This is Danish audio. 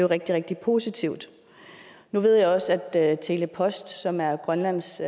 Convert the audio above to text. rigtig rigtig positivt nu ved jeg også at tele post som er grønlands